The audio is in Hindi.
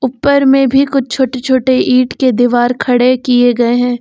उपर में भी कुछ छोटे छोटे ईट के दीवार खड़े किए गए हैं।